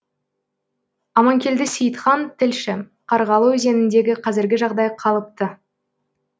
аманкелді сейітхан тілші қарғалы өзеніндегі қазіргі жағдай қалыпты